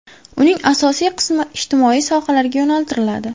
Uning asosiy qismi ijtimoiy sohalarga yo‘naltiriladi.